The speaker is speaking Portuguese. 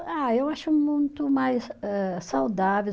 Ah, eu acho muito mais âh, saudável.